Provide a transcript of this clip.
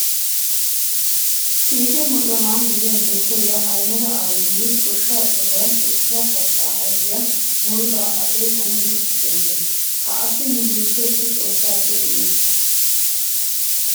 Kiike mocona gidiya dottoriya Ahimeda Abiyyi goshsha sohuwan eqqidi kattaa ayfiya murutaa akeekan yiggi xeellees. Ha asi nu biitteessi Xoossaappe imettiis.